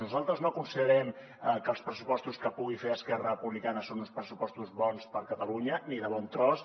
nosaltres no considerem que els pressupostos que pugui fer esquerra republicana són uns pressupostos bons per a catalunya ni de bon tros